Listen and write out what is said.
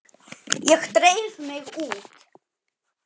Ég dreif mig út.